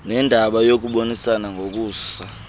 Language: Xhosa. nendaba yokubonisana nokusa